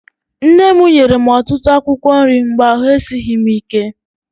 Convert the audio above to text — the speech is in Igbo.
Nne m nyere m ọtụtụ akwụkwọ nri mgbe ahụ esighị m ike.